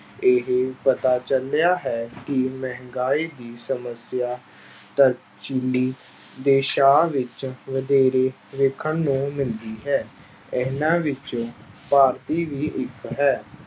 ਇਹ ਪਤਾ ਚੱਲਿਆ ਹੈ ਕਿ ਮਹਿੰਗਾਈ ਦੀ ਸਮੱਸਿਆ ਦੇਸਾਂ ਵਿੱਚ ਵਧੇਰੇ ਵੇਖਣ ਨੂੰ ਮਿਲਦੀ ਹੈ ਇਹਨਾਂ ਵਿੱਚ ਭਾਰਤੀ ਵੀ ਇੱਕ ਹੈ।